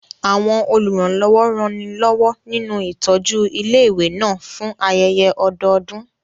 Àwọn olùrànlọ́wọ́ ranilọ́wọ́ nínú ìtọ́jú ilé ìwé náà fún ayẹyẹ ọdọọdún